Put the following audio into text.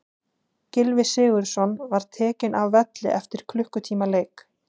Gylfi Sigurðsson var tekinn af velli eftir klukkutíma leik.